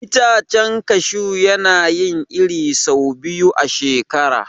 Itacen kashu yana yin iri sau biyu a shekara.